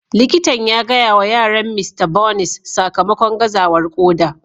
Likitan ya gaya wa yaran Mista Bonys sakamakon gazawar koda.